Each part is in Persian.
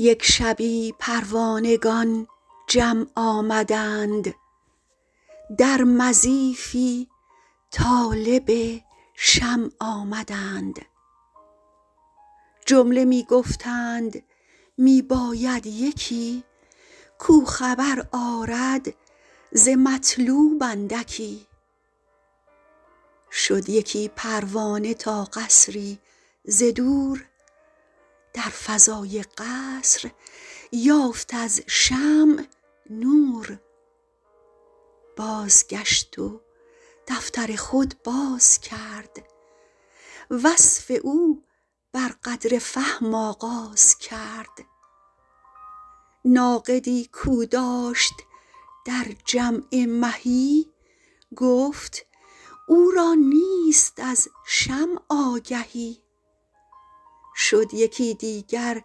یک شبی پروانگان جمع آمدند در مضیفی طالب شمع آمدند جمله می گفتند می باید یکی کو خبر آرد ز مطلوب اندکی شد یکی پروانه تا قصری ز دور در فضاء قصر یافت از شمع نور بازگشت و دفتر خود بازکرد وصف او بر قدر فهم آغاز کرد ناقدی کو داشت در جمع مهی گفت او را نیست از شمع آگهی شد یکی دیگر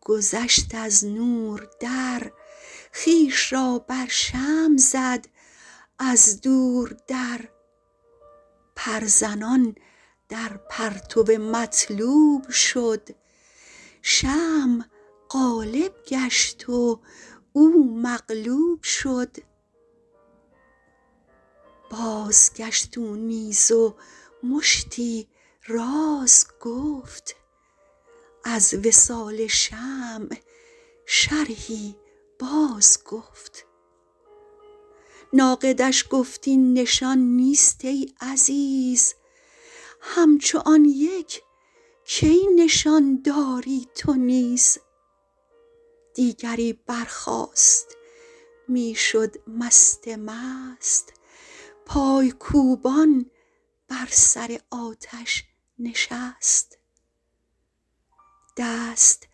گذشت از نور در خویش را بر شمع زد از دور در پر زنان در پرتو مطلوب شد شمع غالب گشت و او مغلوب شد بازگشت او نیز و مشتی راز گفت از وصال شمع شرحی باز گفت ناقدش گفت این نشان نیست ای عزیز همچو آن یک کی نشان دادی تو نیز دیگری برخاست می شد مست مست پای کوبان بر سر آتش نشست دست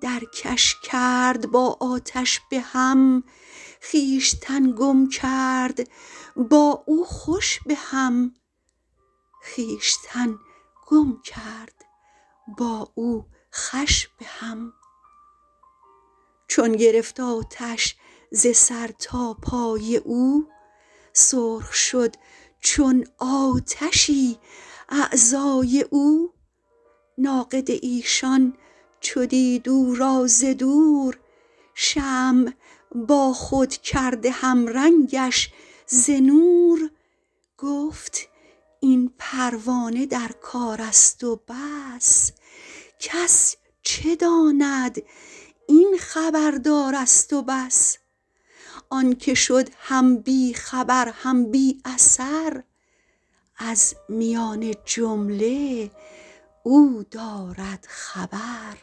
درکش کرد با آتش به هم خویشتن گم کرد با او خوش به هم چون گرفت آتش ز سر تا پای او سرخ شد چون آتشی اعضای او ناقد ایشان چو دید او را ز دور شمع با خود کرده هم رنگش ز نور گفت این پروانه در کارست و بس کس چه داند این خبر دارست و بس آنک شد هم بی خبر هم بی اثر از میان جمله او دارد خبر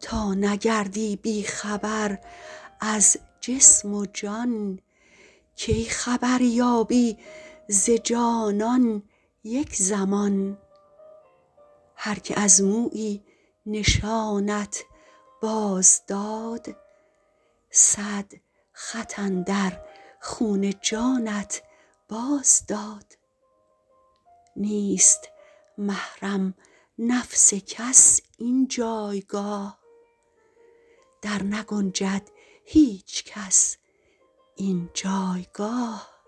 تا نگردی بی خبر از جسم و جان کی خبر یابی ز جانان یک زمان هرکه از مویی نشانت باز داد صد خط اندر خون جانت باز داد نیست محرم نفس کس این جایگاه در نگنجد هیچ کس این جایگاه